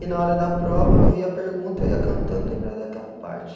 E na hora da prova, eu via a pergunta e ia cantando lembrava daquela parte.